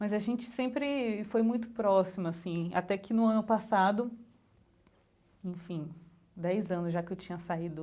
Mas a gente sempre foi muito próxima, assim, até que no ano passado, enfim, dez anos já que eu tinha saído